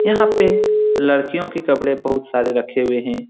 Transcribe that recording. यहाँ पे लड़कियों के कपड़े बहुत सारे रखे हुए हे ।